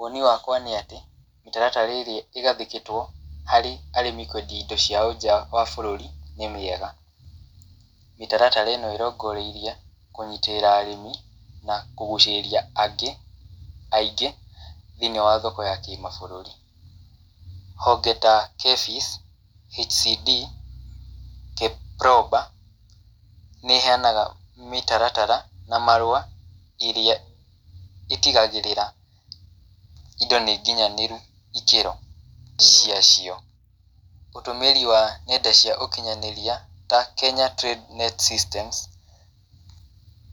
Woni wakwa nĩ atĩ, mĩtaratara ĩrĩa ĩgathĩkĩtwo harĩ arĩmi kwendia indo ciao nja wa bũrũri nĩ mĩega. Mĩtaratara ĩno ĩrongoreirie kũnyitĩrĩra arĩmi, na kũgucĩrĩria angĩ, aingĩ, thĩiniĩ wa thoko ya kĩmabũrũri. Honge ta KEPHIS, HCD, KEPROBA, nĩ iheanaga mĩtaratara na marũa, irĩa itigagĩrĩra indo nĩ nginyanĩru ikĩro cia cio. Ũtũmĩri wa ng'enda cia ũkinyanĩria, ta Kenya Trade Net Systems,